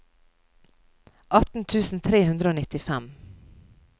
atten tusen tre hundre og nittifem